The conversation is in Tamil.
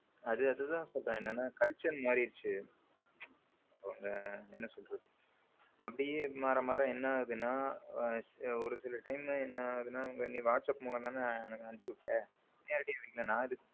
அது அதுதான் சொல்றேன் என்னன்னா culture மாறிடுச்சு இப்ப என்ன சொல்றது அப்படியே மாற மாற என்ன ஆகுதுன்னா ஒரு சில time என்ன ஆகுதுன்னா whatsapp முலம் தான அனுப்பிச்சு விட்ட நேரடியா நான் ஏதுக்கு.